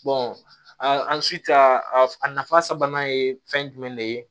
an si ja a nafa sabanan ye fɛn jumɛn de ye